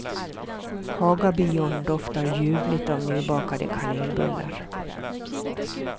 Hagabion doftar ljuvligt av nybakade kanelbullar.